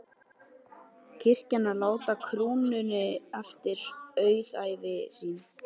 Kirkjan verður að láta krúnunni eftir auðæfi sín.